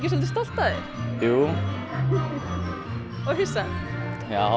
stolt af þér jú og hissa já